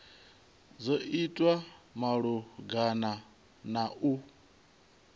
dzo itwa malugana na u